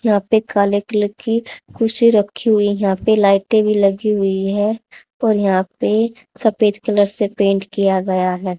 यहां पे काले कलर की कुर्सी रखी हुई है यहां पे लाइट भी लगी हुई है और यहां पे सफेद कलर से पेंट किया गया है।